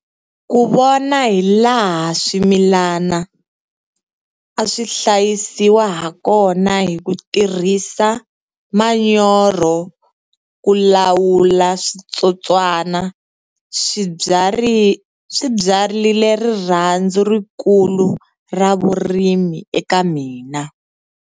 Ku vona hi laha swimilani a swi hlayisiwa hakona hi ku tirhisa manyoro ku lawu la switsotswana swi byarile rirhandzu rikulu ra vurimi eka mina.